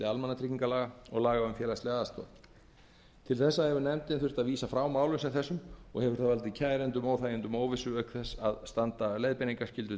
almannatryggingalaga og laga um félagslega aðstoð til þessa hefur nefndin þurft að vísa frá málum sem þessum og hefur það valdið kærendum óþægindum og óvissu auk þess að standa leiðbeiningarskyldu